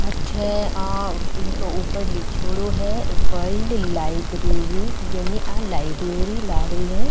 अठे आ इक ऊपर लीखयोड़ो है वर्ल्ड लाइब्रेरी यानी आ लाइब्रेरी लाग री है।